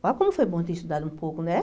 Olha como foi bom ter estudado um pouco, né?